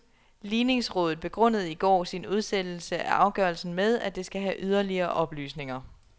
Ligningsrådet begrundede i går sin udsættelse af afgørelsen med, at det skal have yderligere oplysninger.